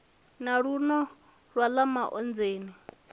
na luno na ḽa maonzeni